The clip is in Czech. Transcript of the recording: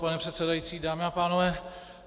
Pane předsedající, dámy a pánové.